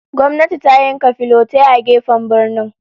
Gwamnati ta yanka filotai a gefen birnin